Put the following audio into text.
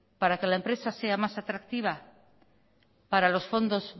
para que la empresa sea más atractiva para los fondos